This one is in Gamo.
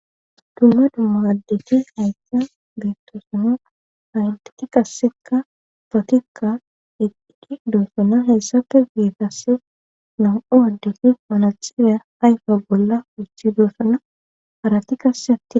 Dumma dumma addeti haysa beettoosona haydeti qasseka fotikka eqdidi doossona hessafe geetasse nam7u addeti panaxirieya ayfa bolla uchi doossona harati kasse atti.